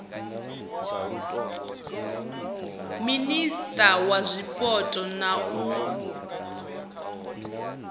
minisia wa zwipotso na u